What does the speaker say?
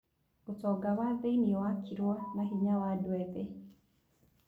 ũtonga wa thĩiniĩ wakirwo na hinya wa andũ ethĩ.